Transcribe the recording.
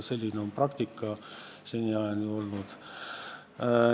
Selline on praktika seni olnud.